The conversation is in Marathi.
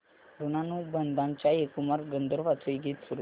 ऋणानुबंधाच्या हे कुमार गंधर्वांचे गीत सुरू कर